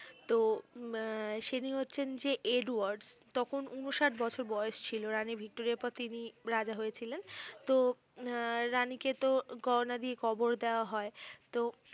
তো উম সেদিন হচ্ছেন যে এডওয়ার্ড তখন উনষাট বছর বয়স ছিল রানী ভিক্টোরিয়ার পর তিনি রাজা হয়েছিলেন তো উম রানীকে তো গয়না দিয়ে কবর দেয়া হয় তো